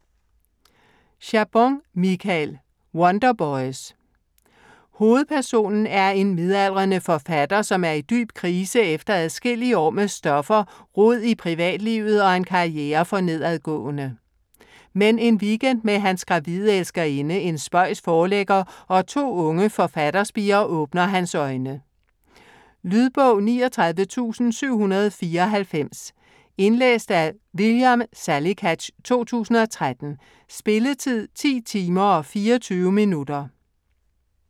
Chabon, Michael: Wonderboys Hovedpersonen er en midaldrende forfatter, som er i dyb krise efter adskillige år med stoffer, rod i privatlivet og en karriere for nedadgående. Men en weekend med hans gravide elskerinde, en spøjs forlægger og 2 unge forfatterspirer åbner hans øjne. Lydbog 39794 Indlæst af William Salicath, 2013. Spilletid: 10 timer, 24 minutter.